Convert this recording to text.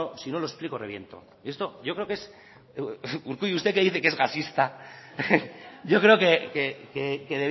si no lo explico reviento esto yo creo que es urkullu usted que dice que es gasista yo creo que